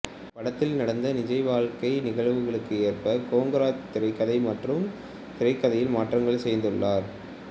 படத்தில் நடந்த நிஜ வாழ்க்கை நிகழ்வுகளுக்கு ஏற்ப கொங்கரா திரைக்கதை மற்றும் திரைக்கதையில் மாற்றங்களைச் செய்துள்ளார்